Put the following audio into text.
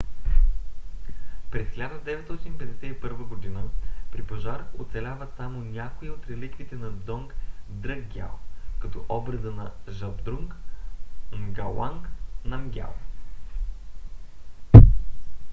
през 1951 г. при пожар оцеляват само някои от реликвите на дзонг дръкгиал като образа на жабдрунг нгауанг намгиал